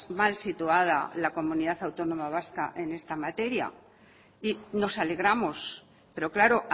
mal situada la comunidad autónoma vasca en esta materia y nos alegramos pero claro